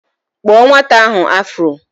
Kpuo nwata ahụ afuro!